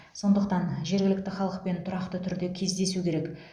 сондықтан жергілікті халықпен тұрақты түрде кездесу керек